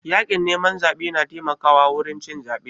Yakin neman zaɓe na taimaka wa wurin cin zebe